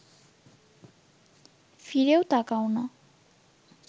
ফিরেও তাকাও না